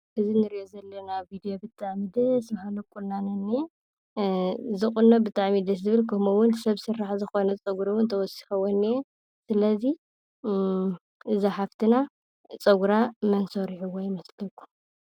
እዚ እንርእዮ ዘለና ቪድዮ ብጣዕሚ ደስ ባሃሊ ቁናኖ እንኤ። እዚ ቁኖ ብጣዕሚ እዩ ደስ ዝብል። ከምኡ እውን ሰብ ስራሕ ዝኮነ ፀጉሪ እውን ተወሲክዎ እንኤ። ስለዚ ነዛ ሓፍትና እቲ ፀጉራ መን ሰሪሕዋ ይመስለኩም?